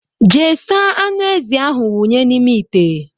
Jee saa aṅụ ezi ahụ wunye n' ime ite!!!!